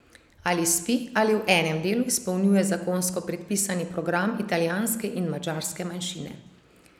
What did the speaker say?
Ali spi ali v enem delu izpolnjuje zakonsko predpisani program italijanske in madžarske manjšine.